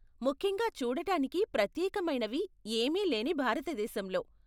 ముఖ్యంగా చూడటానికి ప్రత్యేకమైనవి ఏమీ లేని భారతదేశంలో!